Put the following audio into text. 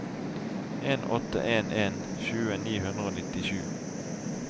en åtte en en tjue ni hundre og nittisju